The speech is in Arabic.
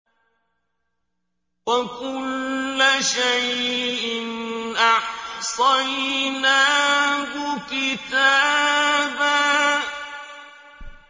وَكُلَّ شَيْءٍ أَحْصَيْنَاهُ كِتَابًا